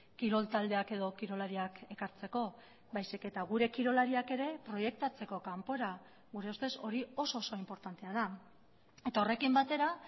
kirol taldeak edo kirolariak ekartzeko baizik eta gure kirolariak ere proiektatzeko kanpora gure ustez hori oso oso inportantea da eta horrekin batera